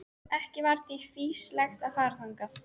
Ekki var því fýsilegt að fara þangað.